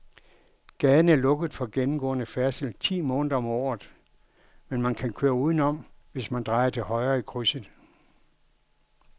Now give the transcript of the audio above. Gaden er lukket for gennemgående færdsel ti måneder om året, men man kan køre udenom, hvis man drejer til højre i krydset.